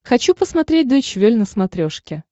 хочу посмотреть дойч вель на смотрешке